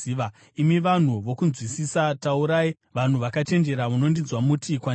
“Imi vanhu vokunzwisisa taurai, vanhu vakachenjera munondinzwa muti kwandiri,